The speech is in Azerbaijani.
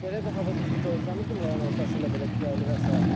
Belə bir hava düzdür, gözləmirdim yayın ortasında belə küləkli və sair.